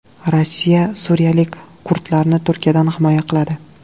Rossiya suriyalik kurdlarni Turkiyadan himoya qiladi.